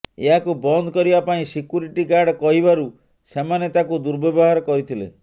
ଏହାକୁ ବନ୍ଦ କରିବା ପାଇଁ ସିକ୍ୟୁରିଟି ଗାର୍ଡ କହିବାରୁ ସେମାନେ ତାଙ୍କୁ ଦୁର୍ବ୍ୟବହାର କରିଥିଲେ